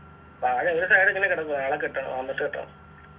താഴെ വീണിട്ട് ആടിങ്ങന കിടക്കുന്ന് നാളെ കെട്ടണം വന്നിട്ട് കെട്ടണം